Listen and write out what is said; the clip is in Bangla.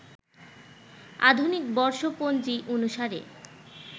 আধুনিক বর্ষপঞ্জি অনুসারে